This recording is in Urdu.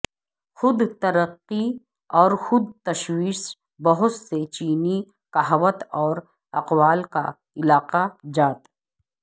خود ترقی اور خود تشویش بہت سے چینی کہاوت اور اقوال کا علاقہ جات